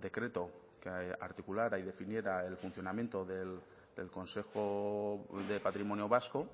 decreto que articulara y definiera el funcionamiento del consejo de patrimonio vasco